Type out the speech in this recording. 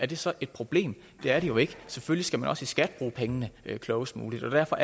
det så et problem det er det jo ikke man selvfølgelig også i skat bruge pengene klogest muligt derfor